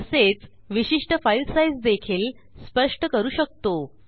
तसेच विशिष्ट file size देखील स्पष्ट करू शकतो